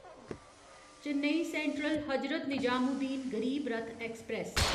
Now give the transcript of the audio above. Chennai central Hazrat Nizamuddin Garib Rath express